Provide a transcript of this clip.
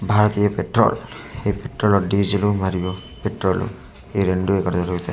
భారతీయ petrol ఈ petrol diesel మరియు petrol ఈ రెండు ఇక్కడ దొరుకుతాయి ఇక్కడ.